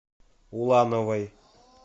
улановой